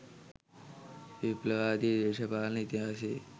විප්ලවවාදී දේශපාලන ඉතිහාසයේ